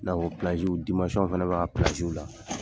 fana kan ka la.